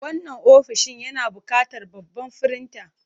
Wannan ofishin yana buƙatar babban firinta.